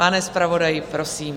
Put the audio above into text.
Pane zpravodaji, prosím.